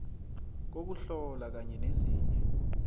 kokuhlola kanye nezinye